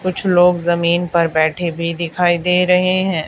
कुछ लोग जमीन पर बैठे भी दिखाई दे रहे हैं।